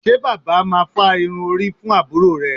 Ṣé bàbá máa fá irun orí fún àbúrò rẹ̀